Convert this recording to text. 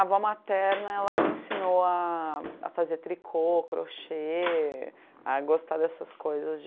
avó materna ela me ensinou a a fazer tricô, crochê, a gostar dessas coisas de